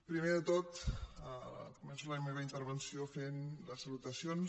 primer de tot començo la meva intervenció fent les salutacions